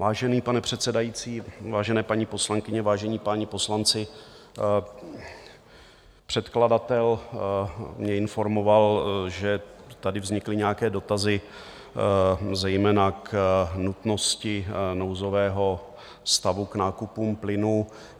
Vážený pane předsedající, vážené paní poslankyně, vážení páni poslanci, předkladatel mě informoval, že tady vznikly nějaké dotazy zejména k nutnosti nouzového stavu k nákupům plynu.